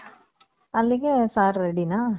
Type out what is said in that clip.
ಅಲ್ಲಿಗೆ sir ready ನಾ?